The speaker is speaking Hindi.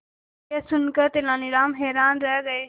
यह सुनकर तेनालीराम हैरान रह गए